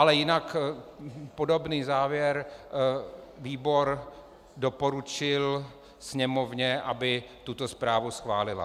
Ale jinak podobný závěr - výbor doporučil Sněmovně, aby tuto zprávu schválila.